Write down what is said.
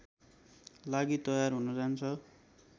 लागि तयार हुन जान्छ